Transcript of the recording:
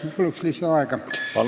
Ma palun lisaaega!